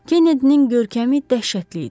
Kennedinin görkəmi dəhşətli idi.